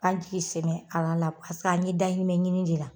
An jigi sɛmɛn Ala la paseke an ɲe dayirimɛ ɲini de la.